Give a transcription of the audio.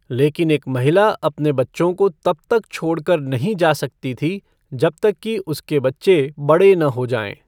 लेकिन एक महिला अपने बच्चों को तब तक छोड़ कर नहीं जा सकती थी जब तक कि उसके बच्चे बड़े न हो जाएं।